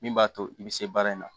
Min b'a to i be se baara in na